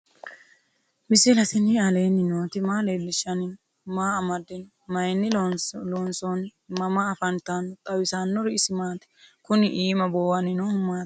misile tini alenni nooti maa leelishanni noo? maa amadinno? Maayinni loonisoonni? mama affanttanno? xawisanori isi maati? kuni iimma buuwanni noohu maati?